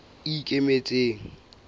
ikemetseng